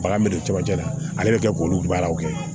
Bagan bɛ don camancɛ la ale bɛ kɛ k'olu baaraw kɛ